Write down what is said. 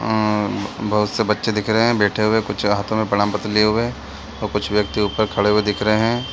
आ बहुत से बच्चे दिख रहे है बैठे हुए कुछ हाँथो मै प्रमार पत्र लिए हुए है और कुछ व्यक्ति उपर खड़े हुए दिख रहे है। ।